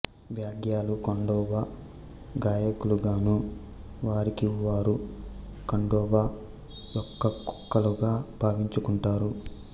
బ్యాగ్యాలు ఖండోబా గాయకులుగానూ వారికివ్ వారు ఖండోబా యొక్క కుక్కలుగా భావించుకుంటారు